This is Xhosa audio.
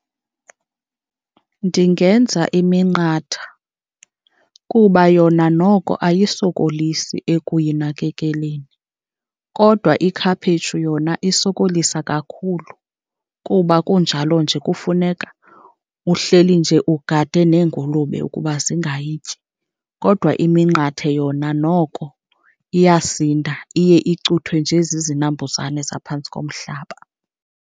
Ndingenza iminqatha kuba yona noko ayisokolisi ekuyinakekeleni, kodwa ikhaphetshu yona isokolisa kakhulu kuba kunjalo nje kufuneka uhleli nje ugade neengulube ukuba zingayityi. Kodwa iminqathe yona noko iyasinda, iye icuthwe nje zizinambuzane zaphantsi komhlaba.